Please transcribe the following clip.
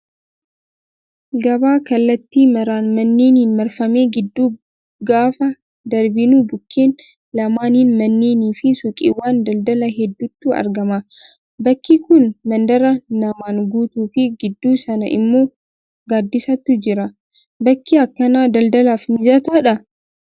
Gabaa kallattii maraan manneeniin marfame gidduu gaafa darbinu bukkeen lamaaniin manneenii fi suuqiiwwan daldalaa hedduutu argama. Bakki kun mandara namaan guutuu fi gidduu sana immoo gaaddisatu jira. Bakki akkanaa daldalaaf mijataadhaa?